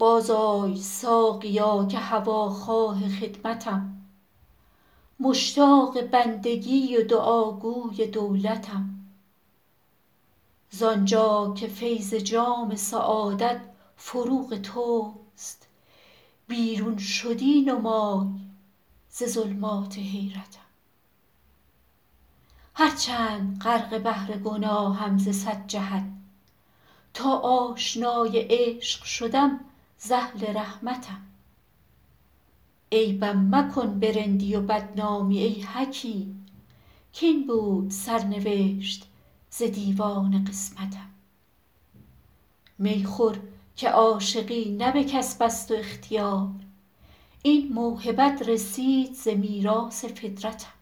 بازآی ساقیا که هواخواه خدمتم مشتاق بندگی و دعاگوی دولتم زان جا که فیض جام سعادت فروغ توست بیرون شدی نمای ز ظلمات حیرتم هرچند غرق بحر گناهم ز صد جهت تا آشنای عشق شدم ز اهل رحمتم عیبم مکن به رندی و بدنامی ای حکیم کاین بود سرنوشت ز دیوان قسمتم می خور که عاشقی نه به کسب است و اختیار این موهبت رسید ز میراث فطرتم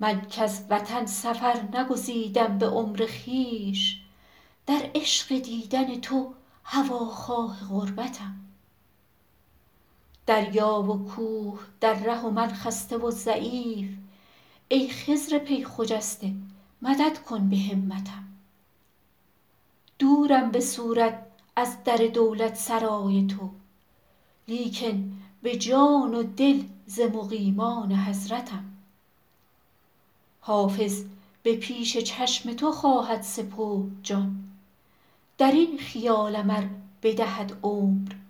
من کز وطن سفر نگزیدم به عمر خویش در عشق دیدن تو هواخواه غربتم دریا و کوه در ره و من خسته و ضعیف ای خضر پی خجسته مدد کن به همتم دورم به صورت از در دولتسرای تو لیکن به جان و دل ز مقیمان حضرتم حافظ به پیش چشم تو خواهد سپرد جان در این خیالم ار بدهد عمر مهلتم